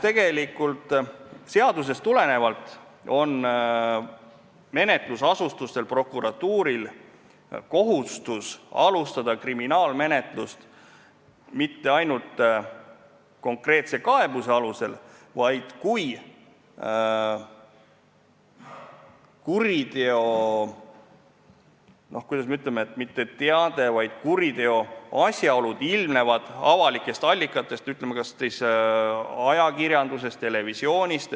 Tegelikult on seadusest tulenevalt menetlusasutustel, prokuratuuril, kohustus alustada kriminaalmenetlust mitte ainult konkreetse kaebuse alusel, vaid ka siis, kui kuriteo asjaolud ilmnevad avalikest allikatest, kas siis ajakirjandusest, televisioonist.